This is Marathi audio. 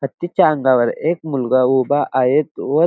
हत्तीच्या अंगावर एक मुलगा उभा आहे व--